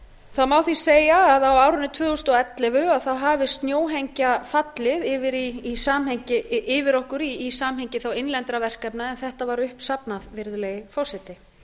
það má því segja að á árinu tvö þúsund og ellefu hafi snjóhengja fallið yfir okkur í samhengi þá innlendra verkefna en þetta var uppsafnað virðulegi forseti